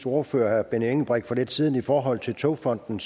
ordfører herre benny engelbrecht for lidt siden i forhold til togfonden